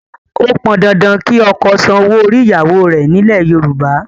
Ó pọn dandan kí ọkọ san owó orí ìyàwó rẹ̀ nílẹ̀ Yorùbá